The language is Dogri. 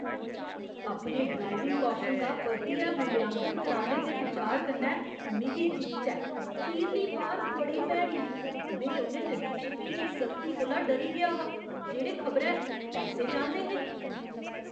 अपने ड्राइविंग कौशल दा परतियै मूल्यांकन कराने दे बिचार कन्नै मिगी जिच्च ऐ। खीरली बार बड़ी भैड़ी ही। में उ'नें नरीक्षकें दी सख्ती कोला डरी गेआ हा जेह्ड़े खबरै पैसे चांह्‌दे हे।